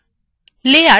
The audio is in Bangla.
লেয়ারস কি